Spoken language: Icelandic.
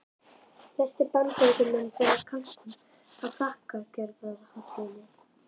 Flestir Bandaríkjamenn borða kalkún á þakkargjörðarhátíðinni.